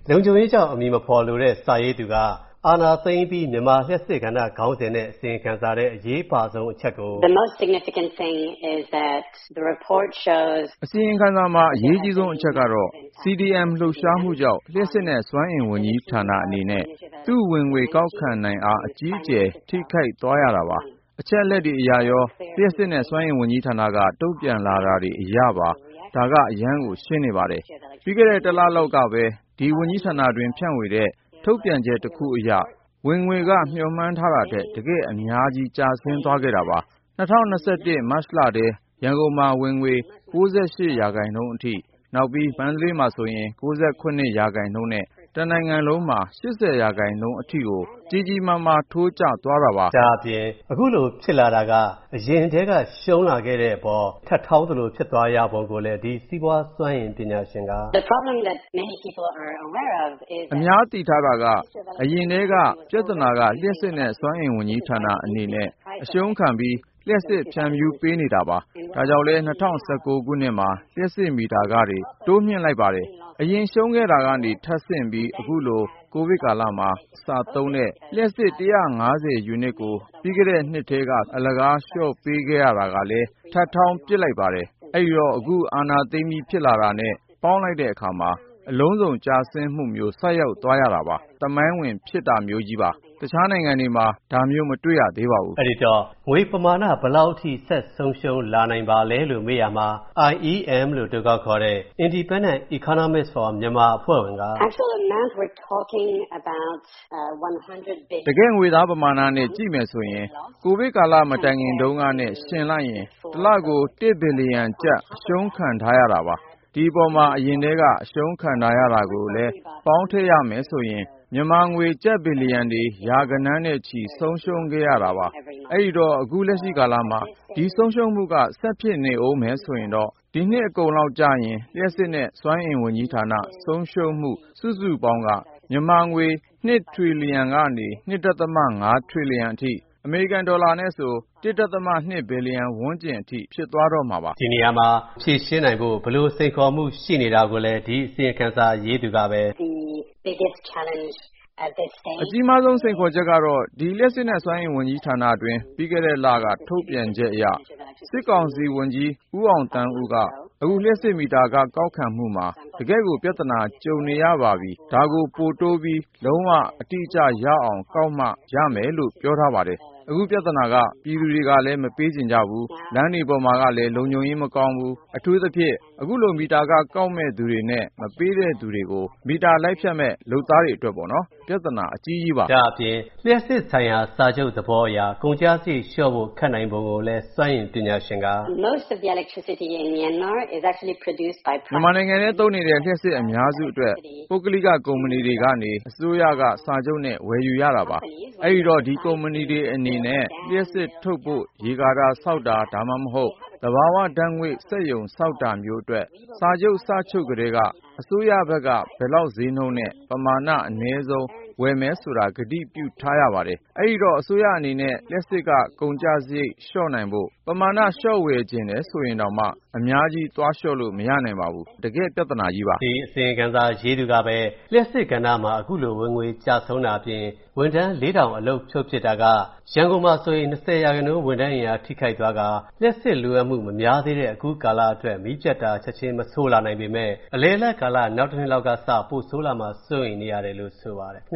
လုံခြုံရေးကြောင့် အမည်မဖော်လိုတဲ့ စာရေးသူက၊ အာဏာသိမ်းအပြီး မြန်မာလျှပ်စစ်ကဏ္ဍခေါင်းစဉ်နဲ့ အစီရင်ခံစာထဲ အရေးပါဆုံးအချက်ကို - ”အစီရင်ခံစာမှာ အရေးကြီးဆုံးအချက်ကတော့ CDM လှုပ်ရှားမူကြောင့် လျှပ်စစ်နဲ့စွမ်းအင်ဝန်ကြီးဌာနအနေနဲ့ သူ့ဝင်ငွေကောက်ခံနိုင်အား အကြီးအကျယ် ထိခိုက်သွားရတာပါ။ အချက်အလက်တွေအရရော၊ လျှပ်စစ်နဲ့စွမ်းအင်ဝန်ကြီးဌာနက တုံ့ပြန်လာတာတွေအရပါ၊ ဒါက အရမ်းကို ရှင်းနေပါတယ်။ ပြီးခဲ့တဲ့ တစ်လလောက်ကပဲ ဒီဝန်ကြီးဌာနတွင်း ဖြန့်ဝေတဲ့ထုတ်ပြန်ချက်တစ်ခုအရ၊ ဝင်ငွေက မျှော်မှန်းထားတာထက် တကယ့်အများကြီး၊ ကျဆင်းသွားခဲ့တာပါ။ ၂၀၂၁ မတ်လထဲ၊ ရန်ကုန်မှာ ဝင်ငွေ ၉၈% အထိ၊ နောက် မန္တလေးမှာ ၉၇% နဲ့ တနိုင်ငံလုံးမှာ ၈၀% အထိကို ကြီးကြီးမားမားကြီး ထိုးကျသွားရတာပါ။ ဒါက လုံးဝ အဖတ်ဆည်မရသလိုပါပဲ။ဓ ဒါ့အပြင် အခုလိုဖြစ်လာတာက အရင်ထဲက ရူံးလာခဲ့တာအပေါ်၊ ထပ်ထောင်းသလိုဖြစ်သွားရပုံကိုလည်း၊ ဒီ စီးပွားစွမ်းအင်ပညာရှင်က - ”အများသိထားတာက အရင်ထဲကပြဿနာက လျှပ်စစ်နဲ့စွမ်းအင်ဝန်ကြီးဌာနအနေနဲ့ အရူံးခံပြီး လျှပ်စစ်ဖြန့်ဖြူးပေးနေရပါတယ်။ ဒါကြောင့်လည်း ၂၀၁၉ ခုနှစ်မှာ လျှပ်စစ်မိတာခတွေ တိုးလိုက်တာပါ။ အခုလိုအရင်ရူံးခဲ့တာကနေ ထပ်ဆင့်ပြီး ကိုဗစ်ကာလမှာ၊ ပြီးခဲ့တဲ့ နှစ်ထဲကပေါ့နော်၊ စသုံးတဲ့ လျှပ်စစ် ၁၅၀ ယူနစ်ကို အလကားလျော့ပေးခဲ့ရတာကလည်း ထပ်ထောင်းပစ်လိုက်ပါတယ်။ အဲ့ဒိတော့ အခု အာဏာသိမ်းပြီးဖြစ်တာတာနဲ့ပေါင်းလိုက်တဲ့အခါမှာ၊ အလုံးစုံကျဆုံးမူမျိုးဆိုက်သွားရတာပေါ့နော်။ ဒါက သမိုင်းဝင်ဖြစ်တာမျိုးကြီးပါ။ တခြားနိုင်ငံတွေမှာ ဒါမျိုးမတွေ့ထားသေးပါဘူး။” အဲ့ဒိတော့ ငွေဘယ်လောက်အထိဆက်ဆုံးရူံးလာနိုင်ပါလဲလို့မေးရာမှာ၊ IEM လို့အတိုခေါက်ခေါ်တဲ့ Independent Economists for Myanmar အဖွဲ့ဝင်က - ”တကယ့်ငွေသားပမာဏနဲ့ကြည့်မယ်ဆိုရင် ကိုဗစ်ကာလမတိုင်ခင်တုံးကနဲ့ယှဦလိုက်ရင်၊ တစ်လကို တစ်ဘီလျံကျပ် အရှုံးခံထားရတာပါ။ ဒီအပေါ်မှာ အရင်ထဲက အရူံးခံထားရတာကိုလည်း ပေါင်းထည့်ရမယ်ဆိုရင်၊ မြန်မာငွေ ကျပ် ဘီလီယံတွေ ရာဂဏန်းတွေနဲ့ချီ ဆုံးရှုံးခဲ့ရတာပါပါ။ အဲ့ဒိတော့ အခုလက်ရှိကာလမှာ၊ ဒီဆုံးရှုံးမူက ဆက်ဖြစ်နေမယ်ဆိုရင်တော့၊ ဒီနှစ်အကုန်ရောက်ရင် လျပ်စစ်နဲ့စွမ်းအင်ဝန်ကြီးဌာန ဆုံးရူံးရမူစုစုပေါင်းက၊ မြန်မာငွေ ၂ ထရီလီယံကနေ ၂.၅ ထရီလီယံအထိ၊ အမေရိကန်ဒေါ်လာဆိုရင် ၁.၂ ဘီလီယံ ဝန်းကျင်အထိဖြစ်သွားတော့မှာပါ။” ဒါကိုပြန်ဖြေရှင်းနိုင်ဖို့ ဘယ်လိုစိန်ခေါ်မူရှိနေတာကိုလည်း ဒီအစီရင်ခံစာ ရေးသူက - ”အကြီးမားဆုံးစိန်ခေါ်ချက်ကတော့ ဒီ လျှပ်စစ်နဲ့စွမ်းအင်ဝန်ကြီးဌာနတွင်း ပြီးခဲ့တဲ့လ ထုတ်ပြန်ချက်အရ၊ စစ်ကောင်စီဝန်ကြီး ဦးအောင်သန်းဦးက၊ အခု လျှပ်စစ်မီတာခကောက်ခံမူမှာ တကယ့်ကို ပြဿနာကြုံနေရပြီ၊ ဒါကို ပိုတိုးပြီး လုံးဝ အတိအကျ ရအောင်ကောက်မှ ရမယ်လို့ ပြောထားပါတယ်။ အခုပြဿနာက ပြည်သူတွေကလည်း မပေးချင်ကြဘူး၊ လမ်းတွေပေါ်မှာကလည်း လုံခြုံရေးမကောင်းဘူး။ အထူးသဖြင့် အခုလိုမီတာခကောက်မဲ့သူတွေနဲ့ မပေးတဲ့သူတွေကို မီတာလိုက်ဖြတ်မဲ့လုပ်သားတွေအတွက်ပေါ့နော်။ အခုလို လူတွေကပေးဖို့ငြင်းဆန်နေချိန် လျှပ်စစ်ခတွေပြန်ရဖို့ ဘယ်လိုကောက်မလဲဆိုတာက ပြဿနာ အကြီးကြီးပါ။” ဒါ့အပြင် လျပ်စစ်ဆိုင်ရာစာချုပ်သဘောအရ ကုန်ကျစရိတ်လျော့ဖို့ ခက်နိုင်ပုံကိုလည်း၊ စွမ်းအင်ပညာရှင်က- ”မြန်မာနိုင်ငံထဲ သုံးနေတဲ့ လျှပ်စစ်အများစုအတွက် ပုဂ္ဂလိကကုမ္ပဏီတွေကနေ အစိုးရက စာချုပ်နဲ့ ဝယ်ယူရတာပါ။ အဲ့ဒိတော့ ဒီကုမ္ပဏီတွေအနေနဲ့ လျှပ်စစ်ထုတ်ဖို့ ရေကာတာဆောက်တာ ဒါမှမဟုတ် သဘာဝဓာတ်ငွေ့စက်ရုံဆောက်တာမျိုးအတွက် စာချုပ်စချုပ်ကထဲက၊ အစိုးရဘက်က ဘယ်လောက် ဈေးနှုန်းနဲ့ ပမာဏအနည်းဆုံး ဝယ်မယ်ဆိုတာ ကတိပြုထားရပါတယ်၊ အဲ့ဒိတော့ အစိုးရအနေနဲ့ လျှပ်စစ်ခကုန်ကျစရိတ်လျော့နိုင်ဖို့ ပမာဏလျော့ဝယ်ချင်တယ်ဆိုရင်တောင်မှ၊ အများကြီးသွားလျော့လို့ မရနိုင်ပါဘူး။ ဒီတော့ တကယ့်ပြဿနာကြီးပါ။” ဒီအစီရင်ခံစာရေးသူကပဲ၊ လျှပ်စစ်ကဏ္ဍမှာ ဝင်ငွေကျဆုံးတာအပြင်၊ ဝန်ထမ်း ၄၀၀၀ အလုပ်ဖြုတ်ပစ်တာက၊ ရန်ကုန်မှာဆိုရင် ၂၀% ဝန်ထမ်း အင်အားထိခိုက်သွားကာ၊ လျှပ်စစ်လိုအပ်မူမများသေးတဲ့အခုကာလတိုမှာ မီးပြတ်တာ ချက်ချင်းမဆိုးလာနိုင်ပေမဲ့၊ အလယ်အလတ်ကာလ နောက်တနှစ်လောက်ကစ၊ ပိုဆိုးလာမှာကို စိုးရိမ်ရတယ်လို့ ဆိုပါတယ်